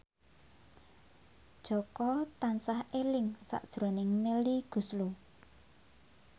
Jaka tansah eling sakjroning Melly Goeslaw